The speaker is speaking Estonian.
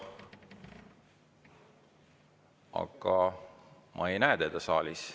Aga ma ei näe teda saalis.